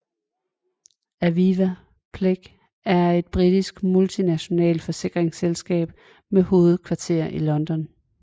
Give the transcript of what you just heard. Aviva plc er et britisk multinationalt forsikringsselskab med hovedkvarter i London